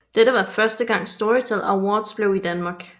Dette var første gang Storytel Awards blev i Danmark